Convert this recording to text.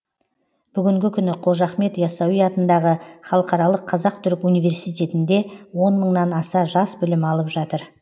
бүгінгі күні қожа ахмет ясауи атындағы халықаралық қазақ түрік университетінде он мыңнан аса жас білім алып жатыр